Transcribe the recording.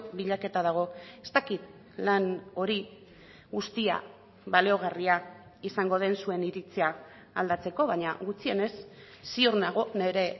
bilaketa dago ez dakit lan hori guztia baliogarria izango den zuen iritzia aldatzeko baina gutxienez ziur nago nire